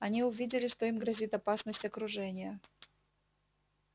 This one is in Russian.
они увидели что им грозит опасность окружения